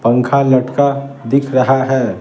पंखा लटका दिख रहा है ।